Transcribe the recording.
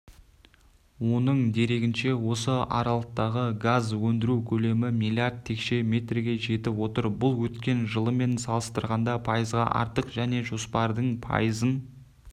оның дерегінше осы аралықтағы газ өндіру көлемі миллиард текше метрге жетіп отыр бұл өткен жылмен салыстырғанда пайызға артық және жоспардың пайызын